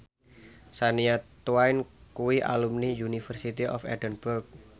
Shania Twain kuwi alumni University of Edinburgh